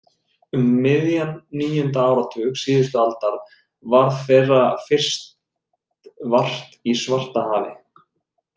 Um miðjan níunda áratug síðustu aldar varð þeirra fyrst vart í Svartahafi.